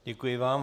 Děkuji vám.